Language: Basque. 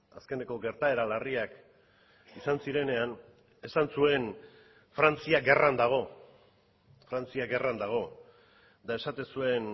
azkeneko gertaera larriak izan zirenean esan zuen frantzia gerran dago frantzia gerran dago eta esaten zuen